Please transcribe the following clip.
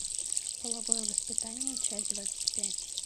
половое воспитание часть двадцать пять